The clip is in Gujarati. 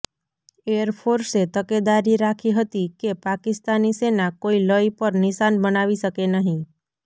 એરફોર્સે તકેદારી રાખી હતી કે પાકિસ્તાની સેના કોઈ લય પર નિશાન બનાવી શકે નહીં